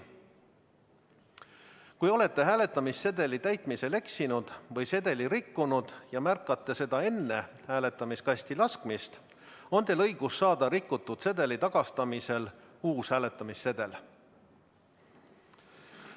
Kui olete hääletamissedeli täitmisel eksinud või sedeli rikkunud ja märkate seda enne hääletamiskasti laskmist, on teil õigus saada rikutud sedeli tagastamisel uus hääletamissedel.